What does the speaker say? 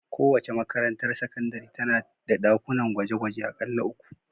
Kowace makarantar sakandare tana da ɗakunan gwaje-gwaje aƙalla uku.